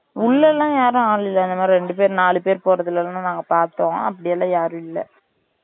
உள்ளலாம் யாரும் ஆளுங்க இல்லை இந்த மாறி ரெண்டு பேரு நாலு பேரு போறதலாம் நாங்க பாத்தோம் அப்டிலாம் யாரும் இல்லை